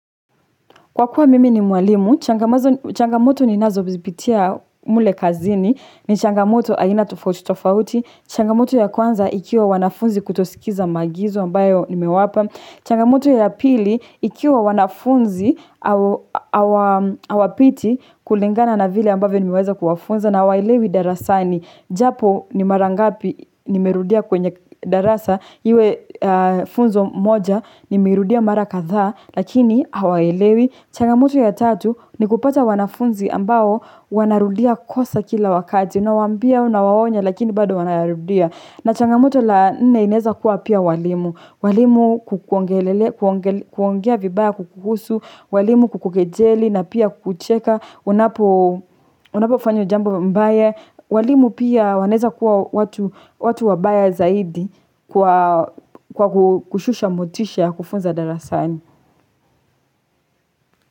Kwa kuwa mimi ni mwalimu, changamoto ni nazo zipitia mule kazini, ni changamoto aina tofauti tofauti, changamoto ya kwanza ikiwa wanafunzi kutosikiliza maagizo ambayo nimewapa, changamoto ya pili ikiwa wanafunzi awapiti kulingana na vile ambavyo nimeweza kuwafunza na hawaelewi darasani japo ni marangapi nimerudia kwenye darasa, Iwe funzo moja ni meirudia mara kadhaa lakini hawaelewi. Changamoto ya tatu ni kupata wanafunzi ambao wanarudia kosa kila wakati. Unawambia, unawaonya lakini bado wanarudia. Na changamoto la nne inaweza kuwa pia walimu. Walimu kuongea vibaya kukuhusu. Waalimu kukukejeli na pia kukucheka. Unapo fanya jambo mbaya. Walimu pia wanaweza kuwa watu wabaya zaidi kwa kushusha motisha kufunza darasani.